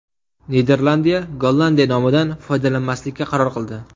Niderlandiya Gollandiya nomidan foydalanmaslikka qaror qildi.